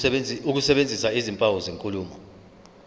ukusebenzisa izimpawu zenkulumo